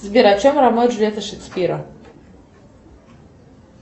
сбер о чем ромео и джульетта шекспира